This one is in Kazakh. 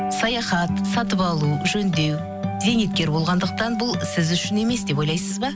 саяхат сатып алу жөндеу зейнеткер болғандықан бұл сіз үшін емес деп ойлайсыз ба